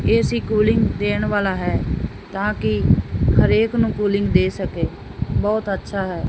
AC cooling ਦੇਣ ਵਾਲਾ ਹੈ ਤਾਂਕੀ ਹਰੇਕ ਨੂੰ ਕੂਲਿੰਗ ਦੇ ਸਕੇ ਬਹੁਤ ਅੱਛਾ ਹੈ।